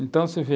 Então, você vê,